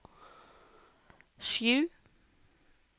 sju